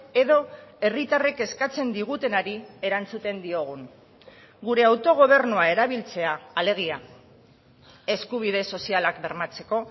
edo herritarrek eskatzen digutenari erantzuten diogun gure autogobernua erabiltzea alegia eskubide sozialak bermatzeko